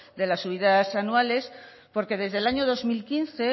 de las subidas anuales porque desde el año dos mil quince